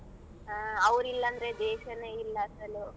ಹ್ಮ ಅವ್ರ್ ಇಲ್ಲ ಅಂದ್ರೆ ದೇಶನೆ ಇಲ್ಲ ಅಸಲು.